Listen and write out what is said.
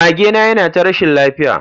Magena yana ta rashin lafiya.